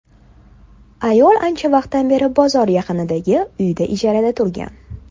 Ayol ancha vaqtdan beri bozor yaqinidagi uyda ijarada turgan.